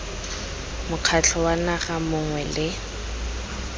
mokgatlho wa naga mongwe le